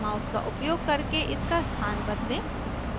mouse का उपयोग करके इसका स्थान बदलें